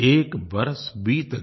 एक बरस बीत गया